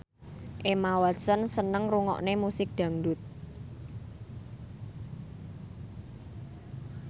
Emma Watson seneng ngrungokne musik dangdut